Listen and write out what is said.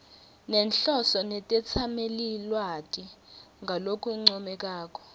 nenhloso netetsamelilwati ngalokuncomekako